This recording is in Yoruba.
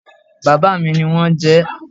Bàbá mi ní wọn jẹ ẹ́